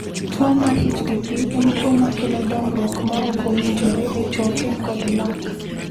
Tuwo mar HPP en tuwo ma kelo dongruok ma ok owinjore e choke kod lak.